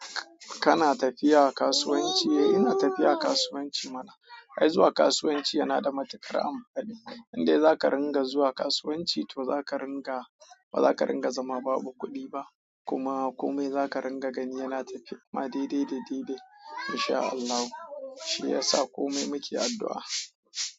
Kana tafiya kasuwanci? Eh ina tafiya kasuwanci mana. Ai zuwa kasuwanci yana da matuƙar amfani. Indai za ka ringa zuwa kasuwanci to za ka ringa, ba za ka ringa zama babu kuɗi ba kuma komai za ka ringa gani yana tafe ma daidai da ɗaidai. In sha Allahu shi yasa komai muke addu'a.